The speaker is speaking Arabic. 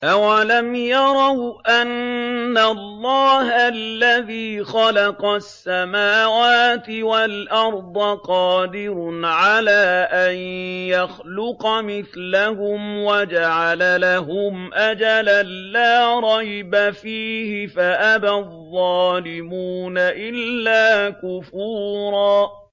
۞ أَوَلَمْ يَرَوْا أَنَّ اللَّهَ الَّذِي خَلَقَ السَّمَاوَاتِ وَالْأَرْضَ قَادِرٌ عَلَىٰ أَن يَخْلُقَ مِثْلَهُمْ وَجَعَلَ لَهُمْ أَجَلًا لَّا رَيْبَ فِيهِ فَأَبَى الظَّالِمُونَ إِلَّا كُفُورًا